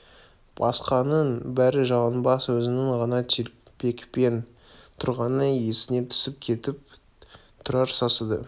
басқаның бәрі жалаңбас өзінің ғана телпекпен тұрғаны есіне түсіп кетіп тұрар сасады